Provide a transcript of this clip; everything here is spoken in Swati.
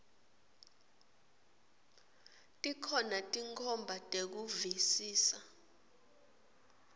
tikhona tinkhomba tekuvisisa